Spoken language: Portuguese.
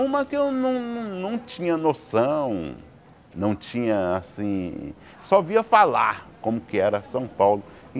Uma que eu não não não tinha noção, não tinha assim... Só via falar como que era São Paulo.